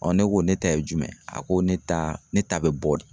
ne ko ne ta ye jumɛn ye, a ko ne ta ne ta be bɔ de.